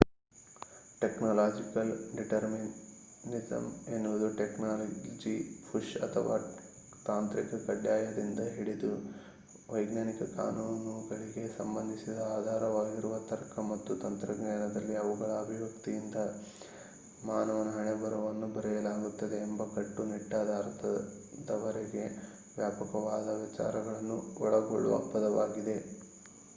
technological determinism ಎನ್ನುವುದು technology push ಅಥವಾ ತಾಂತ್ರಿಕ ಕಡ್ಡಾಯದಿಂದ ಹಿಡಿದು ವೈಜ್ಞಾನಿಕ ಕಾನೂನುಗಳಿಗೆ ಸಂಬಂಧಿಸಿದ ಆಧಾರವಾಗಿರುವ ತರ್ಕ ಮತ್ತು ತಂತ್ರಜ್ಞಾನದಲ್ಲಿ ಅವುಗಳ ಅಭಿವ್ಯಕ್ತಿಯಿಂದ ಮಾನವನ ಹಣೆಬರಹವನ್ನು ಬರೆಯಲಾಗುತ್ತದೆ ಎಂಬ ಕಟ್ಟುನಿಟ್ಟಾದ ಅರ್ಥದವರೆಗೆ ವ್ಯಾಪಕವಾದ ವಿಚಾರಗಳನ್ನು ಒಳಗೊಳ್ಳುವ ಪದವಾಗಿದೆ